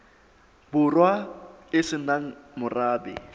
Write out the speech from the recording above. borwa e se nang morabe